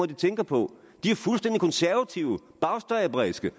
de tænker på de er fuldstændig konservative bagstræberiske